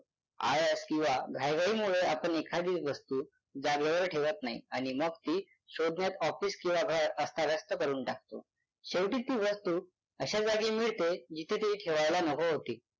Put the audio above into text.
आळस किंवा घाईघाईमुळे आपण एखादी वस्तू जागेवर ठेवत नाही आणि मग ती शोधण्यात office किंवा घर अस्थाव्यस्थ करून टाकतो. शेवटी ती वस्तू अशा जागी मिळते जिथे ती ठेवायलाच नको होती.